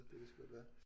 Det kan sgu godt være